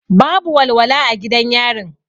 Babu walwala a gidan yarin.